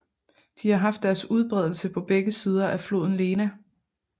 De har haft deres udbredelse på begge sider af floden Lena